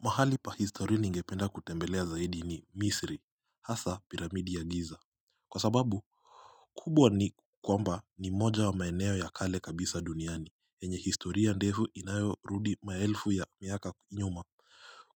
Mahali pa history ningependa kutembelea zaidi ni misri hasa piramidi ya giza Kwa sababu kubwa ni kwamba ni moja wa maeneo ya kale kabisa duniani yenye historia ndefu inayorudi maelfu ya miaka nyuma